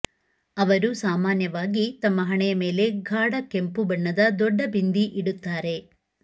ಅವರು ಸಾಮಾನ್ಯವಾಗಿ ತಮ್ಮ ಹಣೆಯ ಮೇಲೆ ಗಾಢ ಕೆಂಪು ಬಣ್ಣದ ದೊಡ್ಡ ಬಿಂದಿ ಇಡುತ್ತಾರೆ